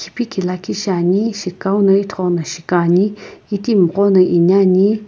kiphiki liikhi shiane shikao ye shikane itimi gho no enane.